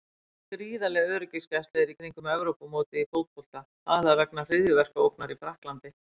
Gríðarleg öryggisgæsla er í kringum Evrópumótið í fótbolta, aðallega vegna hryðjuverkaógnar í Frakklandi.